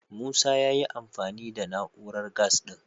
Musa ya yi amfani da na'urar gas ɗin.